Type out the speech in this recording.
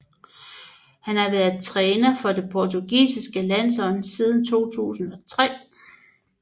Han har været træner for det portugisiske landshold siden 2003